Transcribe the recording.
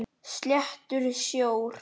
Sléttur sjór.